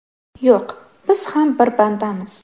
Yo‘q, biz ham bir bandamiz.